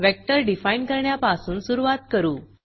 vector define करण्यापासून सुरूवात करू